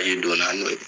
Biki donna n'o ye